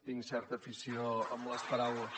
tinc certa afició amb les paraules